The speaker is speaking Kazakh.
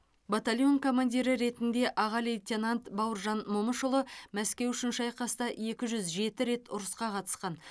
батальон командирі ретінде аға лейтенант бауыржан момышұлы мәскеу үшін шайқаста екі жүз жеті рет ұрысқа қатысқан